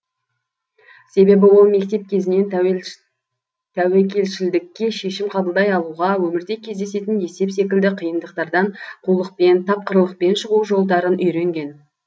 себебі ол мектеп кезінен тәуекелшілдікке шешім қабылдай алуға өмірде кездесетін есеп секілді қиындықтардан қулықпен тапқырлықпен шығу жолдарын үйренген